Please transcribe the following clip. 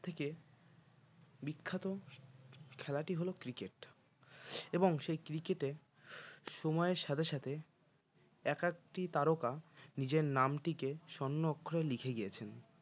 থেকে বিখ্যাত খেলাটি হল cricket এবং সেই cricket এ সময়ের সাথে সাথে এক একটি তারকা নিজের নামটিকে স্বর্ণাক্ষরে লিখে গিয়েছেন